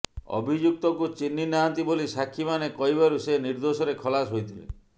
ଅଭିଯୁକ୍ତକୁ ଚିହ୍ନି ନାହାନ୍ତି ବୋଲି ସାକ୍ଷୀମାନେ କହିବାରୁ ସେ ନିର୍ଦ୍ଦୋଷରେ ଖଲାସ ହୋଇଥିଲେ